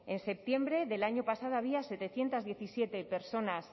en septiembre del año pasado había setecientos diecisiete personas